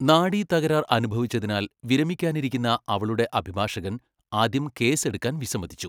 നാഡീ തകരാർ അനുഭവിച്ചതിനാൽ വിരമിക്കാനിരുന്ന അവളുടെ അഭിഭാഷകൻ ആദ്യം കേസ് എടുക്കാൻ വിസമ്മതിച്ചു.